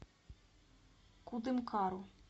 кудымкару